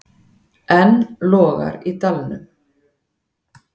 Enn logar í dalnum.